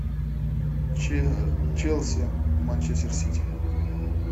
челси манчестер сити